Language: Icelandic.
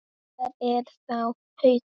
Hvar er þá Haukur?